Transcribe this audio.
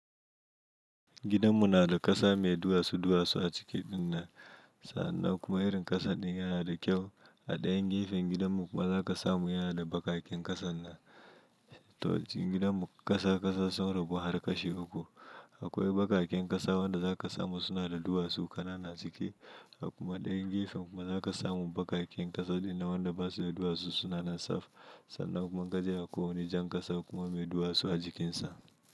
Gidanmu na da ƙasa mai duwatsu-duwatsu a ciki ɗin na. Sannan kuma irin ƙasan ɗin yana da kyau. A ɗayan gefen gidanmu kuma zaƙasa mu yana da bakaken ƙasan na. To, cikin gidanmu ƙasa ƙasa sun rabu har ƙashi uku. Akwai bakaken ƙasa wanda zaƙasa mu suna da duwatsu ƙananan a cike. A kuma ɗayan gefen kuma zaƙasa mu bakaken ƙasa ɗin na wanda ba su da duwatsu suna nan saf. Sannan kuma gajeren ko wane jan ƙasa kuma mai duwatsu a jikin sa.